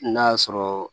N'a y'a sɔrɔ